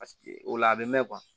Paseke o la a bɛ mɛn